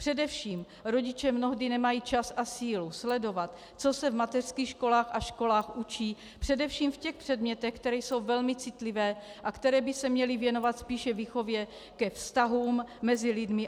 Především rodiče mnohdy nemají čas a sílu sledovat, co se v mateřských školkách a školách učí především v těch předmětech, které jsou velmi citlivé a které by se měly věnovat spíše výchově ke vztahům mezi lidmi.